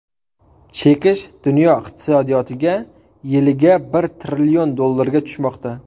Chekish dunyo iqtisodiyotiga yiliga bir trillion dollarga tushmoqda.